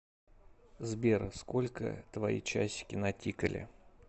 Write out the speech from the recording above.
сбер сколько твои часики натикали